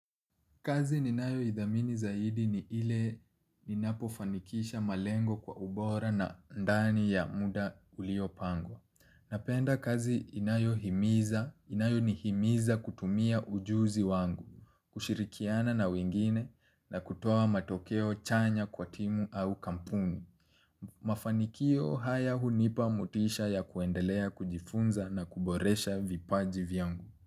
Kazi ninayoithamini zaidi ni ile ninapofanikisha malengo kwa ubora na ndani ya muda uliopangwa. Napenda kazi inayohimiza, inayonihimiza kutumia ujuzi wangu, kushirikiana na wengine na kutoa matokeo chanya kwa timu au kampuni. Mafanikio haya hunipa motisha ya kuendelea kujifunza na kuboresha vipaji vyangu.